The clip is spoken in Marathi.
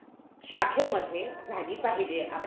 शाखेमध्ये झाली पाहिजे.